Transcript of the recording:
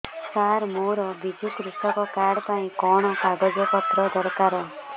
ସାର ମୋର ବିଜୁ କୃଷକ କାର୍ଡ ପାଇଁ କଣ କାଗଜ ପତ୍ର ଦରକାର